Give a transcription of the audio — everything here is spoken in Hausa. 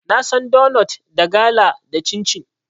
Na san donot, da gala, da cincin.